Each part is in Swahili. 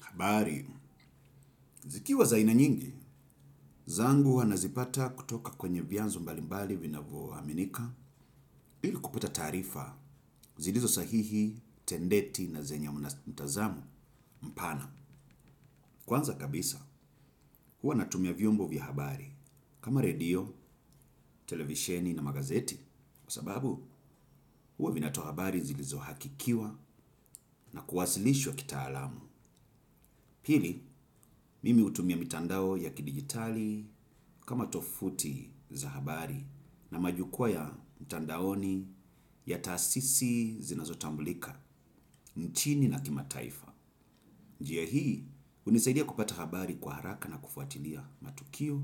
Habari, zikiwa za aina nyingi, zangu huwa nazipata kutoka kwenye vyanzo mbalimbali vinavyo aminika ili kupata taarifa zilizosahihi, tendeti na zenya mtazamo mpana. Kwanza kabisa, huwa natumia vyombo vya habari kama redio, televisheni na magazeti, kwa sababu huwa vinatoa habari zilizohakikiwa na kuwasilishwa kitaalamu. Pili, mimi hutumia mitandao ya kidigitali kama tovuti za habari na majukwa ya mitandaoni ya taasisi zinazotambulika nchini na kimataifa. Njia hii, hunisaidia kupata habari kwa haraka na kufuatilia matukio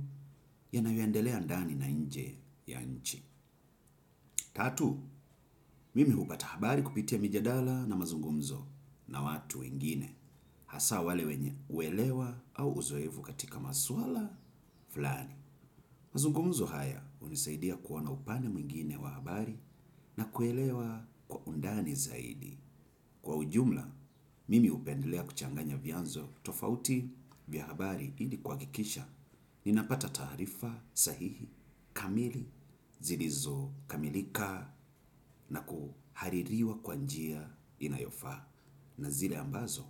yanayoendelea ndani na nje ya nchi. Tatu, mimi hupata habari kupitia mijadala na mazungumzo na watu ingine hasa wale wenye uelewa au uzoefu katika maswala fulani. Mazungumzo haya hunisaidia kuwa na upande mwingine wa habari na kuelewa kwa undani zaidi. Kwa ujumla, mimi hupendelea kuchanganya vyanzo tofauti vya habari ili kuhakikisha. Ninapata taarifa sahihi, kamili zilizokamilika na kuhaririwa kwa njia inayofaa. Na zile ambazo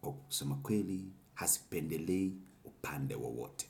kwa kusema kweli hazipendelei upande wowote.